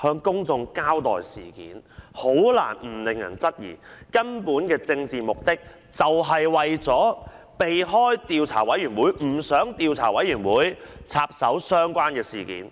向公眾交代事件，很難不令人質疑，根本的政治目的是為了避開調查委員會，不想調查委員會插手相關的事件。